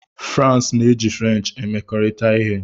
France na-eji French emekọrịta ihe.